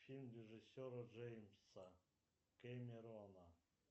фильм режиссера джеймса кемерона